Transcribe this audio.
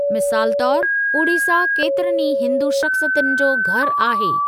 मिसालु तौर, उड़ीसा केतिरनि ई हिन्दू शख़्सियतुनि जो घरु आहे।